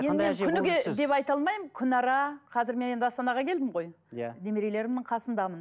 енді мен күніге деп айта алмаймын күнара қазір мен енді астанаға келдім ғой иә немерелерімнің қасындамын